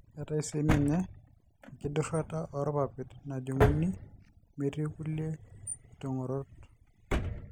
keetae sii ninye enkidurata oorpapit najung'uni metii kulie kitong'orot.